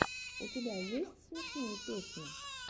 у тебя есть смешные песни